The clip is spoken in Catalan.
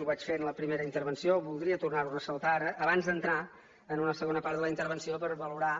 ho vaig fer en la primera intervenció voldria tornar ho a fer ressaltar ara abans d’entrar en una segona part de la intervenció per valorar